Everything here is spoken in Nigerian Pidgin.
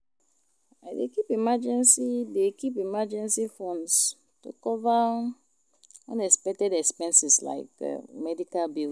I dey keep emergency dey keep emergency fund to cover unexpected expenses like medical bills.